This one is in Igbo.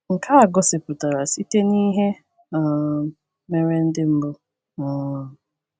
Nke a gosipụtara site n’ihe um mere ndị mbụ. um